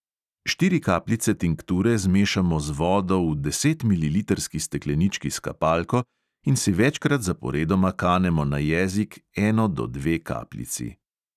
Štiri kapljice tinkture zmešamo z vodo v desetmililitrski steklenički s kapalko in si večkrat zaporedoma kanemo na jezik eno do dve kapljici.